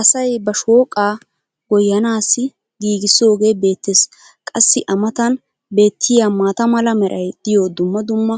Asay ba shooqqaa goyanaassi giigisoogee beetees. qassi a matan beetiya maata mala meray diyo dumma dumma